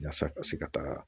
Yaasa ka se ka taa